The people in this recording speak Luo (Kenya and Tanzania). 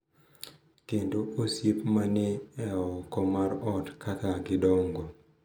Kendo osiep ma ni e oko mar ot kaka gidongo.